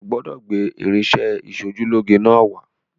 O gbọ́dọ̀ gbé irinṣẹ́-ìṣojúlóge náà wá